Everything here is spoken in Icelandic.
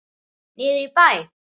Niður í bæ?